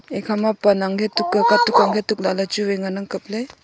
ekha ma pan ang ke tuk ka katuk chu wai ngan ang kap ley.